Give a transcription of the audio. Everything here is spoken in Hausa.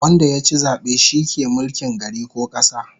Wanda yachi zabe shi ke mulkin gari ko kasa